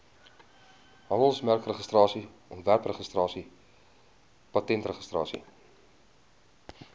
handelsmerkregistrasie ontwerpregistrasie patentregistrasie